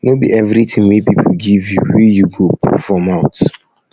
no be everytin wey pipo give you wey you go you go put for mouth